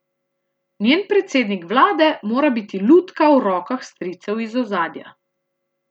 Njen predsednik vlade mora biti lutka v rokah stricev iz ozadja.